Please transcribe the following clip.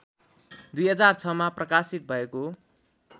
२००६मा प्रकाशित भएको